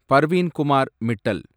Parveen Kumar Mittal